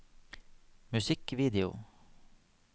musikkvideo